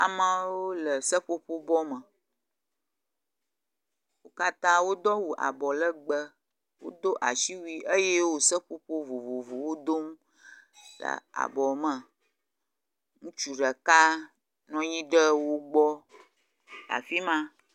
amawo le seƒoƒo bɔ me, wó katã wodó awu abɔ legbe wodó asiwui eye wó seƒoƒo vovovowo dom le abɔme ŋutsu ɖeka nɔnyiɖe wó gbɔ le afima